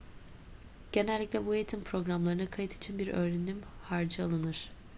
genellikle bu eğitim programlarına kayıt için bir öğrenim harcı alınır